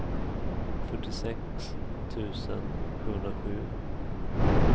fyrtiosex tusen sjuhundrasju